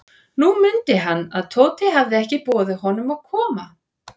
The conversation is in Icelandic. Nú mundi hann, að Tóti hafði ekki boðið honum að koma.